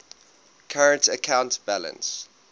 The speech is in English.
current account balance